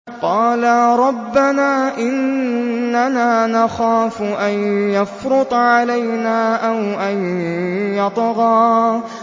قَالَا رَبَّنَا إِنَّنَا نَخَافُ أَن يَفْرُطَ عَلَيْنَا أَوْ أَن يَطْغَىٰ